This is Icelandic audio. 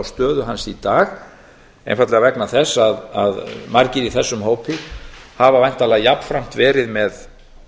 stöðu hans í dag einfaldlega vegna þess að margir í þessum hópi hafa væntanlega jafnframt verið með